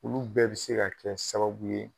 Olu bɛɛ bɛ se ka kɛ sababu ye